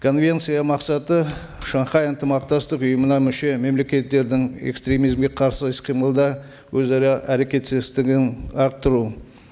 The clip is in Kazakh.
конвенция мақсаты шанхай ынтымақтастық ұйымына мүше мемлекеттердің экстремизмге қарсы іс қимылда өзара әрекеттестігін арттыру